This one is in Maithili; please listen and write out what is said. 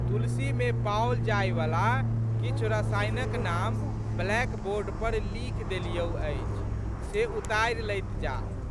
तुलसीमे पाओल जाइवला किछु रसायनक नाम ब्लैकबोर्ड पर लिखि देलियौ अछि से उतारि लैत जाह।